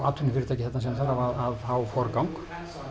atvinnufyrirtækið sem þarf að fá forgang